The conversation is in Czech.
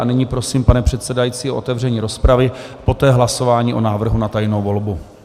A nyní prosím, pane předsedající, o otevření rozpravy, poté hlasování o návrhu na tajnou volbu.